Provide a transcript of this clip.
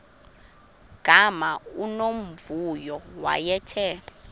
gama unomvuyo wayethe